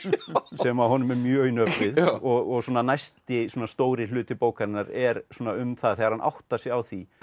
sem honum er mjög í nöp við og næsti stóri hluti bókarinnar er um það þegar hann áttar sig á því